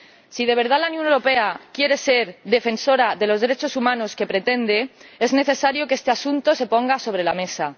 Si de verdad la Unión Europea quiere ser la defensora de los derechos humanos que pretende, es necesario que este asunto se ponga sobre la mesa.